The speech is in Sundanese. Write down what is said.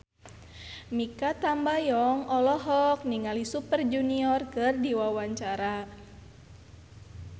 Mikha Tambayong olohok ningali Super Junior keur diwawancara